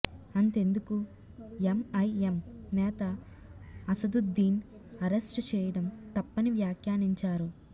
అంతెందుకు ఎంఐఎం నేత అసదుద్దీన్ అరెస్టు చేయడం తప్పని వాఖ్యానించారు